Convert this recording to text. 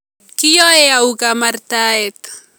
Kiyae au Kaamaartayeet?